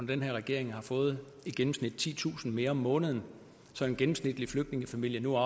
den her regering har fået i gennemsnit titusind kroner mere om måneden så en gennemsnitlig flygtningefamilie nu er